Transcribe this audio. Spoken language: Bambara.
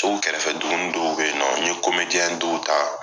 Tɔw kɛrɛfɛ duguni dɔw bɛ yen nɔ, n ye dɔw ta,